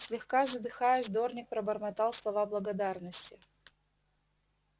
слегка задыхаясь дорник пробормотал слова благодарности